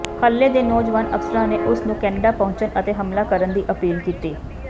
ਹਲੇ ਦੇ ਨੌਜਵਾਨ ਅਫਸਰਾਂ ਨੇ ਉਸ ਨੂੰ ਕੈਨੇਡਾ ਪਹੁੰਚਣ ਅਤੇ ਹਮਲਾ ਕਰਨ ਦੀ ਅਪੀਲ ਕੀਤੀ